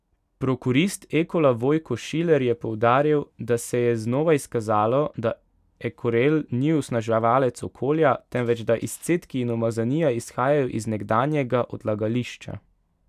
Prokurist Ekola Vojko Šiler je poudaril, da se je znova izkazalo, da Ekorel ni onesnaževalec okolja, temveč da izcedki in umazanija izhajajo iz nekdanjega odlagališča.